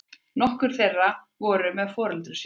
Nokkur þeirra voru með foreldrum sínum